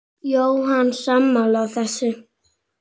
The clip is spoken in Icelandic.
Jóhann: Sammála þessu?